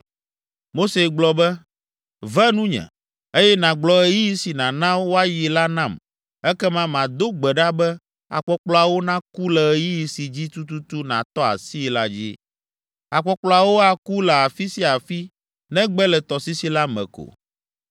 Mose gblɔ be, “Ve nunye, eye nàgblɔ ɣeyiɣi si nàna woayi la nam ekema mado gbe ɖa be akpɔkplɔawo naku le ɣeyiɣi si dzi tututu nàtɔ asii la dzi. Akpɔkplɔawo aku le afi sia afi negbe le tɔsisi la me ko.”